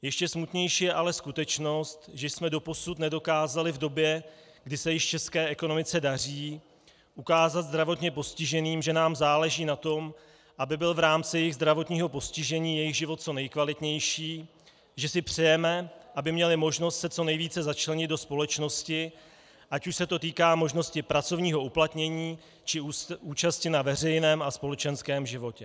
Ještě smutnější je ale skutečnost, že jsme doposud nedokázali v době, kdy se již české ekonomice daří, ukázat zdravotně postiženým, že nám záleží na tom, aby byl v rámci jejich zdravotního postižení jejich život co nejkvalitnější, že si přejeme, aby měli možnost se co nejvíce začlenit do společnosti, ať už se to týká možnosti pracovního uplatnění, či účasti na veřejném a společenském životě.